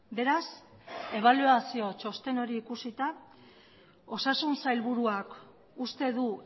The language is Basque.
beraz ebaluazio txosten hori ikusita osasun sailburuak uste du